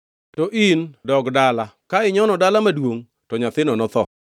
“To in, dogi dala, ka inyono dala. Ka inyono dala maduongʼ, to nyathino notho.